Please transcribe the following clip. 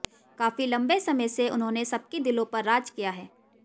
काफी लंबे समय से उन्होने सबके दिलों पर राज किया है